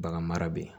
Bagan mara bɛ yen